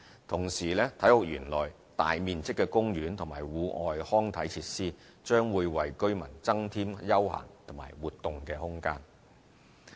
同時，體育園內大面積的公園和戶外康體設施，將為居民增添休閒和活動空間。